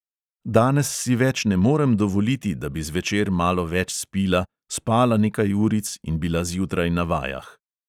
Danes si več ne morem dovoliti, da bi zvečer malo več spila, spala nekaj uric in bila zjutraj na vajah.